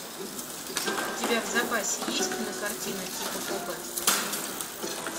у тебя в запасе есть кинокартина типа копы